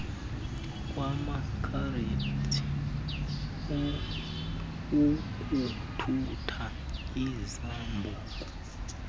kwamakhareji ukuthutha izambuku